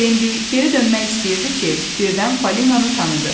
Bembi geri dönmək istəyirdi ki, birdən Fəlinanı tanıdı.